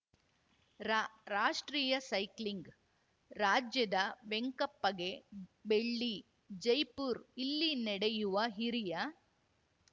ರಾ ರಾಷ್ಟ್ರೀಯ ಸೈಕ್ಲಿಂಗ್‌ ರಾಜ್ಯದ ವೆಂಕಪ್ಪಗೆ ಬೆಳ್ಳಿ ಜೈಪುರ್ ಇಲ್ಲಿ ನಡೆಯುವ ಹಿರಿಯ